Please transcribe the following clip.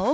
ал